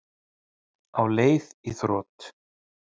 Á leið í þrot